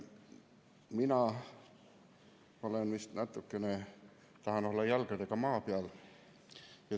Mina olen vist natukene, tahan olla, kahe jalaga maa peal.